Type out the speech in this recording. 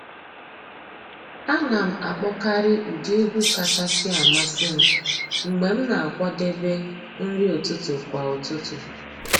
A nà m àkpọ́kàrị́ ụ́dị́ ègwú kàchàsị́ àmásị́ m mg̀bé m nà-àkwàdébé nrí ụ́tụtụ́ kwà ụ́tụtụ́.